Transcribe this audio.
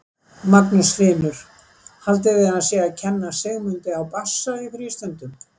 Magnús Hlynur: Haldið þið að hann sé að kenna Sigmundi á bassa í frístundum?